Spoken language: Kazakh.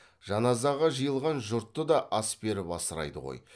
жаназаға жиылған жұртты да ас беріп асырайды ғой